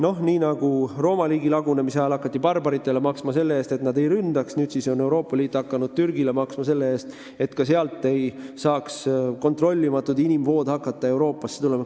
Aga nii nagu Rooma riigi lagunemise ajal hakati barbaritele maksma selle eest, et nad ei ründaks, on nüüd Euroopa Liit hakanud Türgile maksma selle eest, et sealt ei saaks kontrollimatud inimvood Euroopasse suunduda.